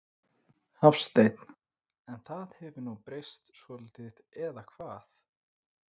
Hafsteinn: En það hefur nú breyst svolítið eða hvað?